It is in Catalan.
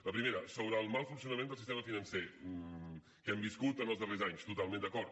la primera sobre el mal funcionament del sistema financer que hem viscut els darrers anys totalment d’acord